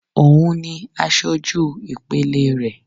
Òun ni asojú ìpele rẹ̀